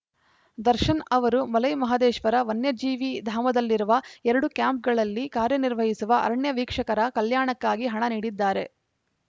ದರ್ಶನ್‌ ಅವರು ಮಲೈಮಹದೇಶ್ವರ ವನ್ಯಜೀವಿಧಾಮದಲ್ಲಿರುವ ಎರಡು ಕ್ಯಾಂಪ್‌ಗಳಲ್ಲಿ ಕಾರ್ಯನಿರ್ವಹಿಸುವ ಅರಣ್ಯ ವೀಕ್ಷಕರ ಕಲ್ಯಾಣಕ್ಕಾಗಿ ಹಣ ನೀಡಿದ್ದಾರೆ